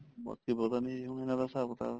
ਬਾਕੀ ਪਤਾ ਨੀਂ ਹੁਣ ਇਹਨਾ ਦਾ ਹਿਸਾਬ ਕਿਤਾਬ